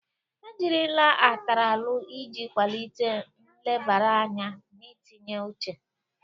Ejirila Ataralu iji kwalite nlebara anya na itinye uche.